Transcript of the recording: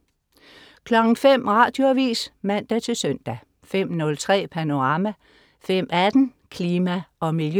05.00 Radioavis (man-søn) 05.03 Panorama 05.18 Klima og Miljø